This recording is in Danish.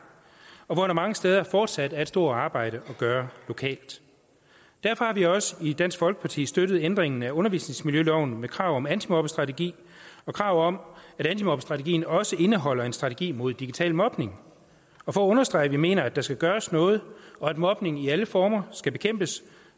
og hvor der mange steder fortsat er et stort arbejde at gøre lokalt derfor har vi også i dansk folkeparti støttet ændringen af undervisningsmiljøloven med krav om antimobbestrategi og krav om at antimobbestrategien også indeholder en strategi mod digital mobning og for at understrege at vi mener der skal gøres noget og at mobning i alle former skal bekæmpes